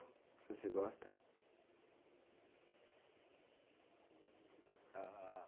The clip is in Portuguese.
Que você gosta?